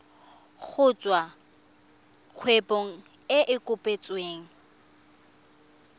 kgotsa kgwebo e e kopetsweng